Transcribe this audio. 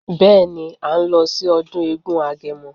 Beeni, à ń lọ sí ọdún eégún agẹmọ.